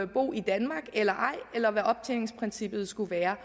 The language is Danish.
bo i danmark eller ej eller hvad optjeningsprincippet skulle være